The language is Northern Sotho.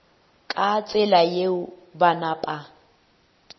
ka tsela yeo ba napa